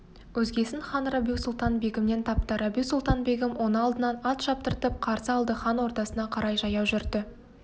өзгесін хан рабиу-сұлтан-бегімнен тапты рабиу-сұлтан-бегім оны алдынан ат шаптыртып қарсы алды хан ордасына қарай жаяу жүрді